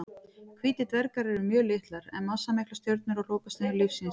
Hvítir dvergar eru mjög litlar en massamiklar stjörnur á lokastigum lífs síns.